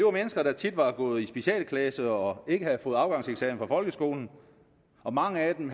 er mennesker der tit har gået i specialklasser og ikke har fået afgangseksamen fra folkeskolen og mange af dem